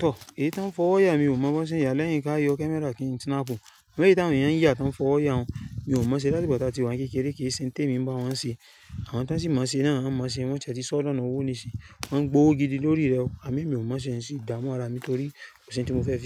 Tọ̀, èyí tí wọ́n n fọwọ́ ya, mi ò mọ̀ bí wọ́n ṣe ń yàá lẹ́yìn ká yọ̀ camera kí n snapù. Eléyìí tí àwọn èèyàn ń yà tí wọ́n n fọwọ́ ya hun, mi ò mọ̀ọ́ ṣe láti ìgbà tí ati wà ni kékeré kí i ṣe ń témi ń bá wọn ṣe. Àwọn tí wọ́n sì mọ̀ọ́ ṣe náà wọ́n mọ̀ọ́ ṣe wọ́n ti ẹ̀ ti sóọ́ dọ̀nà owó nísìn. Wọ́n ń gbowó gidi lórí rẹ̀ o. Àmọ́ mi ò mọ̀ọ́ ṣe nsì dààmú ara mi torí kòsí oun tí mo fẹ́ fi.